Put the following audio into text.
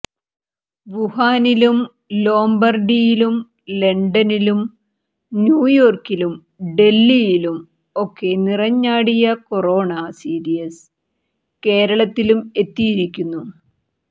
വുഹാനിലും ലൊംബാര്ഡിയിലും ലണ്ടനിലും ന്യൂയോര്ക്കിലും ഡല്ഹിയിലും ഒക്കെ നിറഞ്ഞാടിയ കൊറോണ സീരീസ് കേരളത്തിലും എത്തിയിരിക്കുന്നു